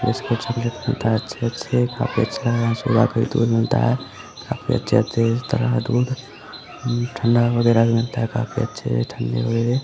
Biscuit - इसकूट भी रख मिलता है अच्छे-अच्छे काफी अच्छा है यहाँ सुधा का भी दूध मिलता है काफी अच्छे-अच्छे तरह का दूध अ उम ठंडा वगेरा भी मिलता है काफी अच्छे ठन्डे वगेरे।